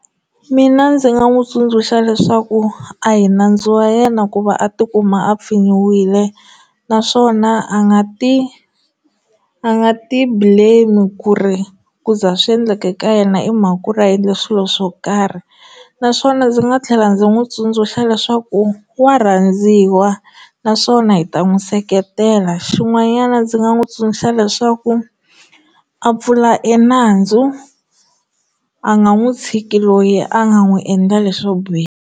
Mina ndzi nga n'wi tsundzuxa leswaku a hi nandzu wa yena ku va a tikuma a pfinyiwile naswona a nga ti a nga ti blame ku ri ku za swi endleke ka yena i mhaka ya ku ri a endle swilo swo karhi naswona ndzi nga tlhela ndzi n'wi tsundzuxa leswaku wa rhandziwa naswona hi ta n'wi seketela xin'wanyana ndzi nga n'wi tsundzuxa leswaku a pfula enandzu a nga n'wi tshiki loyi a nga n'wi endla leswo biha.